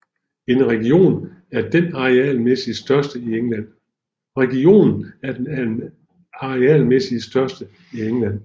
Regionen er den arealmæssigt største i England